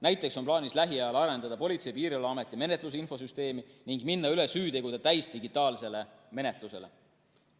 Näiteks on plaanis lähiajal arendada Politsei‑ ja Piirivalveameti menetlusinfosüsteemi ning minna üle süütegude täisdigitaalsele menetlusele.